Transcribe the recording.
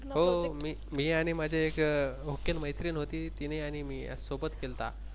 हो हो मी आणि माझे एक हुकेल मैत्रीण होती तिने आणि मी असं सोबत केलता.